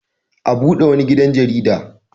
A bude wani gidan jarida.